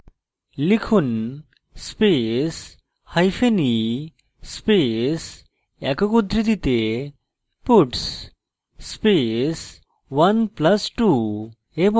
লিখুন space hyphen e space একক উদ্ধৃতিতে puts space 1 + 2 এবং